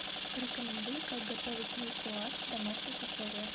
порекомендуй как готовить нисуаз в домашних условиях